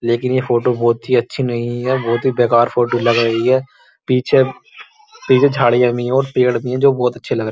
लेकिन ये फोटो बोहोत ही अच्छी नहीं है। बोहोत ही बेकार फोटो लग रही है। पीछे पीछे झाड़ियाँ भी हैं और पेड़ भी हैं जो बोहोत अच्छे लग --